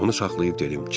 Onu saxlayıb dedim: